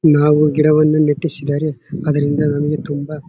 ನಾವು ಗಿಡವನ್ನು ನೆತ್ತಿಸಿದರೆ ಅದರಿಂದ ನಮಗೆ ತುಂಬಾ --